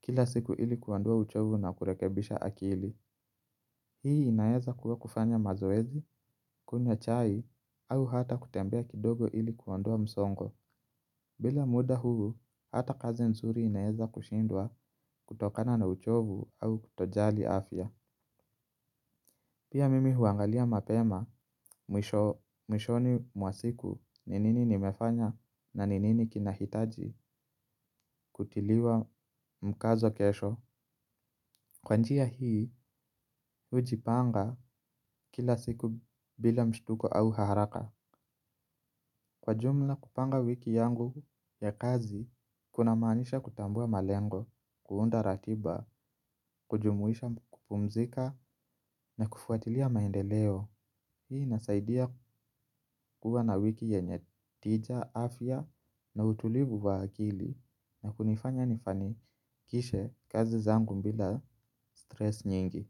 kila siku ili kuondoa uchovu na kurekebisha akili. Hii inaweza kuwa kufanya mazoezi, kunywa chai au hata kutembea kidogo ili kuondoa msongo. Bila muda huu, hata kazi nzuri inaweza kushindwa kutokana na uchovu au kutojali afya. Pia mimi huangalia mapema mwishoni mwa siku ni nini ni mefanya na nini kinahitaji kutiliwa mkazo kesho. Kwa njia hii, hujipanga kila siku bila mshutuko au haraka. Kwa jumla kupanga wiki yangu ya kazi, kuna maanisha kutambua malengo, kuunda ratiba, kujumuisha kupumzika na kufuatilia maendeleo. Hii inasaidia kuwa na wiki yenye tija, afya na utulivu wa akili na kunifanya nifanikishe kazi zangu bila stress nyingi.